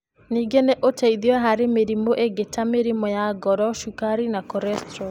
Ningĩ nĩ ũteithio harĩ mĩrimũ ĩngĩ ta mũrimũ wa ngoro, cukari, na cholesterol.